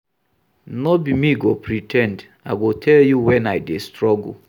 No be me go pre ten d, I go tell you wen I dey struggle.